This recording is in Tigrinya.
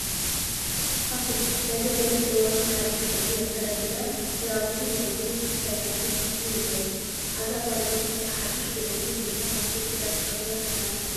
ፋሽን፡- ናይ ዘበንን እዋንን ሓዱሽ ቅዲ ኣካዳድና ክዳውንቲ ናይ ፀጉሪ ስታላትን ፋሽን ንብሎም፡፡ አዛ ጓል ኣነስተይቲ ሓዱሽ ልዕሊ ብርካ ፋሽን ክዳን ተኸዲና ተፋልጥ ኣላ፡፡